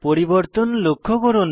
পরিবর্তন লক্ষ্য করুন